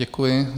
Děkuji.